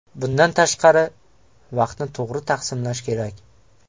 Bundan tashqari, vaqtni to‘g‘ri taqsimlash kerak.